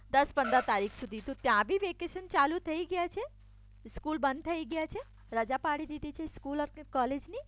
દસ પનદરા તારીખ સુધી. તો ત્યાં બી વેકેશન ચાલુ થઈ ગયા છે સ્કૂલ બંધ થઈ ગયા છે રજા પાડી દીધી છે સ્કૂલ કે કોલેજ ની